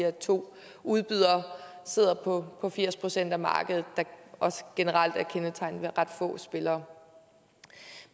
at to udbydere sidder på firs procent af markedet der også generelt er kendetegnet ved ret få spillere